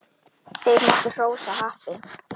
Þeir máttu hrósa happi.